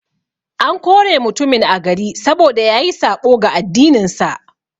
An kore mutumin a gari, saboda yayi saɓo ga addinin sa.